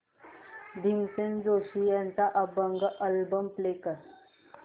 भीमसेन जोशी यांचा अभंग album play कर